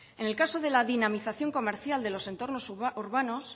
en el caso de la dinamización comercial de los entornos urbanos